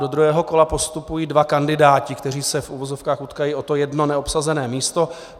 Do druhého kola postupují dva kandidáti, kteří se v uvozovkách utkají o to jedno neobsazené místo.